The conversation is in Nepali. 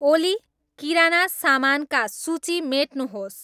ओली किराना सामानका सूची मेट्नुहोस्